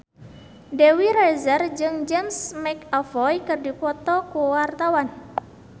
Dewi Rezer jeung James McAvoy keur dipoto ku wartawan